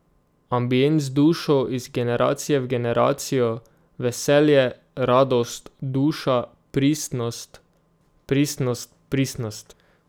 Ambient z dušo, iz generacije v generacijo, veselje, radost, duša, pristnost, pristnost, pristnost ...